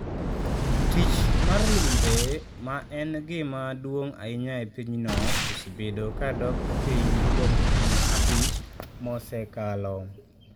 Tich mar limbe, ma en gima duong’ ahinya e pinyno, osebedo ka dok piny kuom higni abich mosekalo.